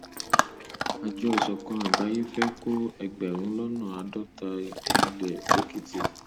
àjọ ìṣọkan àgbáyé fẹẹ kó ẹgbẹrún lọnà àádọta ilé sèkìtì